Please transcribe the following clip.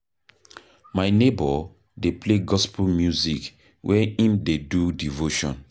My neighbour dey play gospel music wen im dey do devotion.